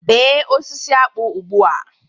Bee osisi akpu ugbua